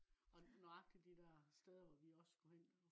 og nøjagtig de der steder hvor vi også skulle hen